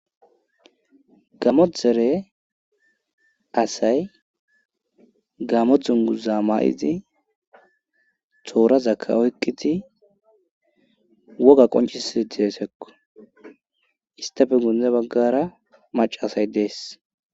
Gammo dere asay gammo dunguza ma'idi toorazakka oykqiti wogga qoncissi deesekko istappe guyee baggara macca asay dees